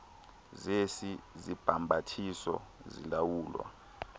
zesi sibhambathiso zilawulwa